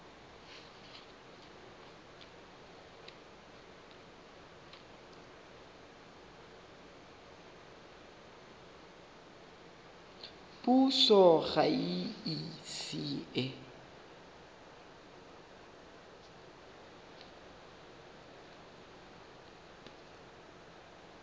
puso ga e ise e